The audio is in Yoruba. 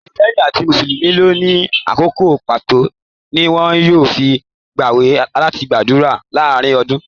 Kírísítẹ́nì àti mùsùlùmí ló ní àkókò pàtó tí wọn yóò fí gb'àwẹ àti ádùrá láàrín ọdún.